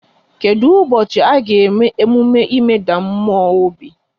Kedụ ụbọchị a ga-eme emume ịmeda mmụọ obi?